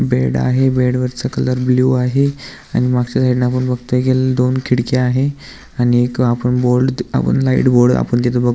bed आहे बेडवरचा colour blue आहे आणि मागच्या साइडन आपण बगतोय की दोन खिडक्या आहे आणि एक बोर्ड लाइट बोर्ड आपण तिथं बग --